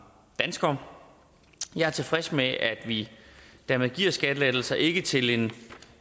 danskere jeg er tilfreds med at vi dermed giver skattelettelser ikke til en